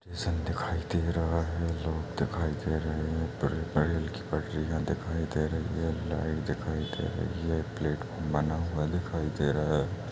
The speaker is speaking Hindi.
स्टेशन दिखाई दे रहा है लोग दिखाई दे रहे है रेल की पटरियां दिखाई दे रही है लाइट दिखाई दे रही है प्लेटफार्म बना हुआ दिखाई दे रहा है।